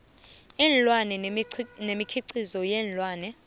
iinlwana nemikhiqizo yeenlwana